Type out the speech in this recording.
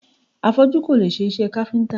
Afọ́jú kò lè ṣe iṣẹ́ káfíntà.